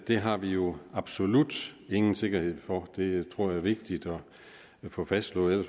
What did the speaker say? det har vi jo absolut ingen sikkerhed for det tror jeg er vigtigt at få fastslået og